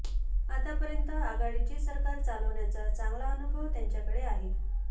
आतापर्यंत आघाडीचे सरकार चालवण्याचा चांगला अनुभव त्यांच्याकडे आहे